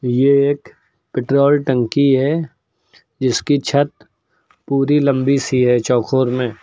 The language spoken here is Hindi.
ये एक पेट्रोल टंकी है जिसकी छत पूरी लंबी सी है चौकोर में।